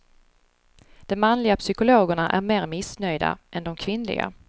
De manliga psykologerna är mer missnöjda än de kvinnliga.